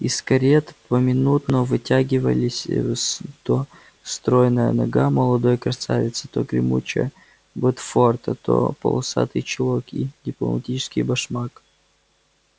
из карет поминутно вытягивались то стройная нога молодой красавицы то гремучая ботфорта то полосатый чулок и дипломатический башмак